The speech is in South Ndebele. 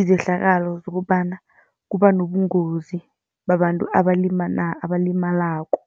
Izehlakalo zokobana kuba nobungozi babantu abalimalako.